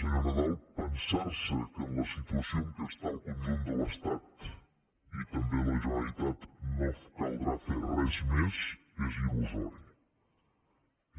senyor nadal pensar se que en la situació en què està el conjunt de l’estat i també la generalitat no caldrà fer res més és il·lusori